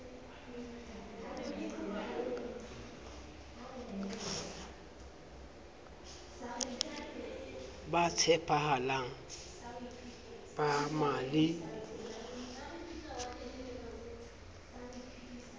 ba tshepahalang ba na le